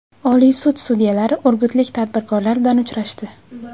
Oliy sud sudyalari urgutlik tadbirkorlar bilan uchrashdi.